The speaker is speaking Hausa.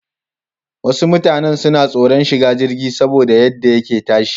Wasu mutanan suna tsoran shiga jirgi saboda yadda yake tashi.